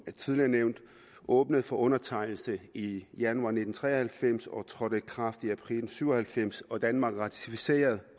tidligere nævnt åbnet for undertegnelse i januar nitten tre og halvfems og trådte i kraft i april syv og halvfems og danmark ratificerede